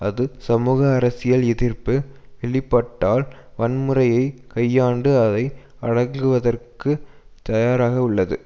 அது சமூக அரசியல் எதிர்ப்பு வெளிப்பட்டால் வன்முறையை கையாண்டு அதை அடங்குவதற்கு தயாராக உள்ளது